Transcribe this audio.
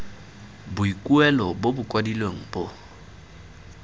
boikuelo bo bo kwadilweng bo